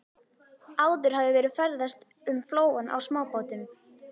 Áður hafði verið ferðast um flóann á smábátum.